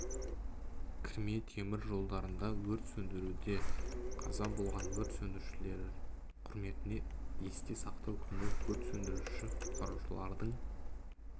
кірме темір жолдарында өрт сөндіруде қаза болған өрт сөндірушілер құрметіне есте сақтау күні өрт сөндіруші-құтқарушылардың